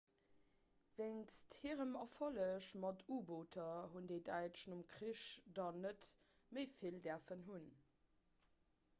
wéinst hirem erfolleg mat u-booter hunn déi däitsch nom krich der net méi vill däerfen hunn